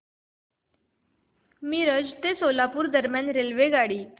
मिरज ते सोलापूर दरम्यान रेल्वेगाडी